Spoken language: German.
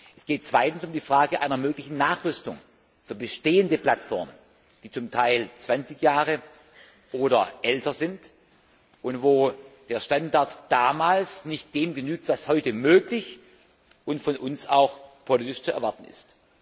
Es geht zweitens um die Frage einer möglichen Nachrüstung für bestehende Plattformen, die zum Teil 20 Jahre oder älter sind und wo der Standard von damals nicht dem genügt, was heute möglich und von uns auch politisch zu erwarten ist.